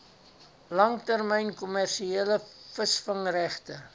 langtermyn kommersiële visvangregte